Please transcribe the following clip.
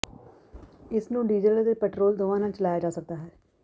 ਇਸ ਨੂੰ ਡੀਜ਼ਲ ਅਤੇ ਪੈਟਰੋਲ ਦੋਵਾਂ ਨਾਲ ਚਲਾਇਆ ਜਾ ਸਕਦਾ ਹੈ